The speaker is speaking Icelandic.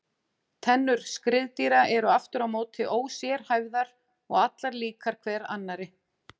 Tennur skriðdýra eru aftur á móti ósérhæfðar og allar líkar hver annarri.